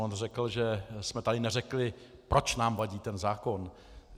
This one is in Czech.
On řekl, že jsme tady neřekli, proč nám vadí ten zákon.